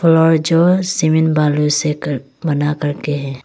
और जो सीमेंट बालू से घर बना करके है।